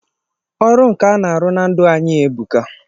Ọrụ nkà na-arụ na ndụ anyị e buka.